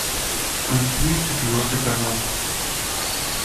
включи четвертый канал